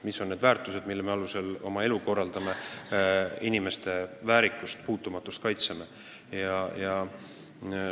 Mis on need väärtused, mille alusel me oma elu korraldame, inimeste väärikust, puutumatust kaitseme?